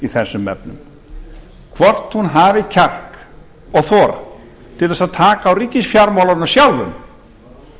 þessum efnum hvort hún hafi kjark og þor til þess að taka á ríkisfjármálunum sjálfum